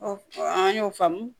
an y'o faamu